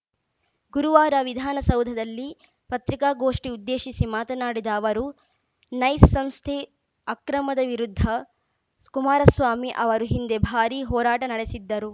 ಗುರುವಾರ ವಿಧಾನಸೌಧದಲ್ಲಿ ಪತ್ರಿಕಾಗೋಷ್ಠಿ ಉದ್ದೇಶಿಸಿ ಮಾತನಾಡಿದ ಅವರು ನೈಸ್‌ ಸಂಸ್ಥೆ ಅಕ್ರಮದ ವಿರುದ್ಧ ಕುಮಾರಸ್ವಾಮಿ ಅವರು ಹಿಂದೆ ಭಾರಿ ಹೋರಾಟ ನಡೆಸಿದ್ದರು